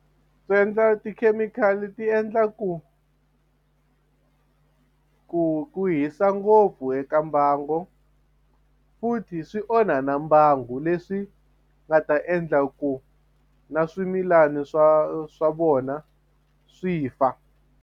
Swi endla tikhemikhali ti endla ku ku ku hisa ngopfu eka mbangu futhi swi onha na mbangu leswi nga ta endla ku na swimilani swa swa vona swi fa.